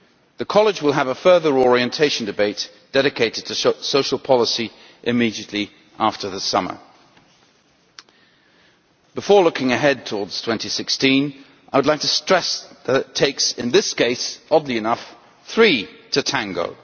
The College will have a further orientation debate dedicated to social policy immediately after the summer. Before looking ahead towards 2016, I would like to stress that it takes in this case, oddly enough three to tango.